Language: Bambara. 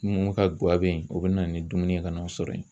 Mun ka guwa bɛ yen o bɛ na ni dumuni ye ka n'aw sɔrɔ yen